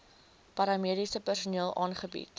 paramediese personeel aangebied